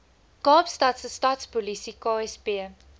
kaapstadse stadspolisie ksp